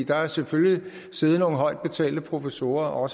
der har selvfølgelig siddet nogle højt betalte professorer og